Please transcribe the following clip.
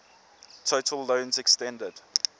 total loans extended